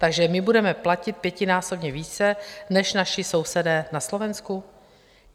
Takže my budeme platit pětinásobně více než naši sousedé na Slovensku?